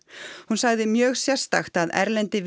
hún sagði mjög sérstakt að erlendi